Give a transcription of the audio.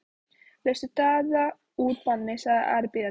Leystu Daða úr banni, sagði Ari biðjandi.